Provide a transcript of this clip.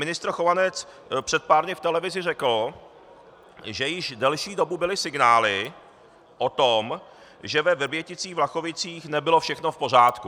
Ministr Chovanec před pár dny v televizi řekl, že již delší dobu byly signály o tom, že ve Vrběticích-Vlachovicích nebylo všechno v pořádku.